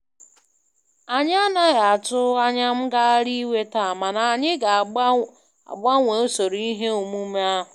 Anyị anaghị atụ anya ngagharị iwe taa, mana anyị ga-agbanwee usoro ihe omume ahu.